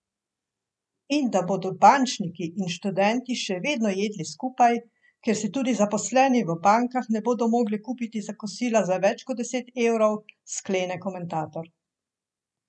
In da bodo bančniki in študenti še vedno jedli skupaj, ker si tudi zaposleni v bankah ne bodo mogli kupiti kosila za več kot deset evrov, sklene komentator.